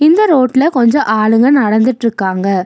இந்த ரோட்ல கொஞ்ச ஆளுங்க நடந்துட்ருக்காங்க.